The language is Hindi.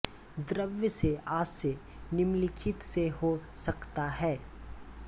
द्रव्य से आशय निम्नलिखित से हो सकता है